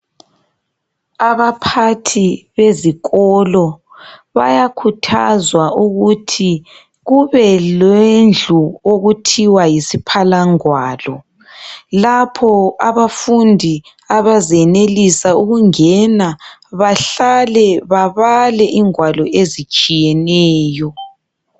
Abaphathi bezikolo bayakhuthazwa ukuthi kube lendlu okuthwa yisiphalwa ngwalo lapho abafundi abezenelesa ukungena bahlale babale ingwalo ezitshiyeneyo.